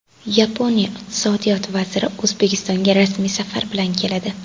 Yaponiya Iqtisodiyot vaziri O‘zbekistonga rasmiy safar bilan keladi.